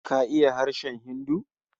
KA iya harshen Hindu?